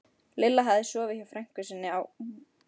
Lilla hafði sofið hjá frænku sinni á